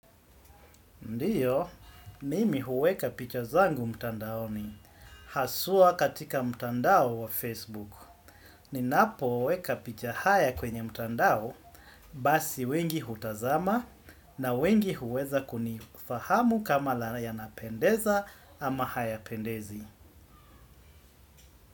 Ndio, mimi huweka picha zangu mtandaoni, haswa katika mtandao wa Facebook. Ninapo weka picha haya kwenye mtandao, basi wengi hutazama na wengi huweza kunifahamu kama napendeza ama haya pendezi.